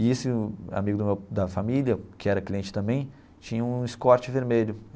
E esse amigo do meu da família, que era cliente também, tinha um Escort vermelho.